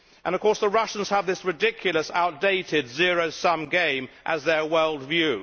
Of course, the Russians have this ridiculous outdated zero sum game as their world view.